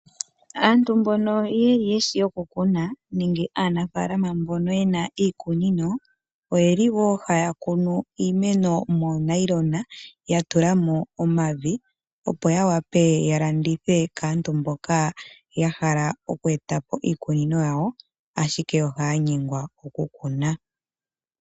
Aantu mbono yeshi oku kuna nenge aanafaalama mbono yena iikunino oyeli wo haya kunu iimeno moonayilona ya tula mo omavi, opo ya wape ya landithe kaantu mboka ya hala oku e ta po iikunino yawo ashike ohaya nyengwa oku kuna.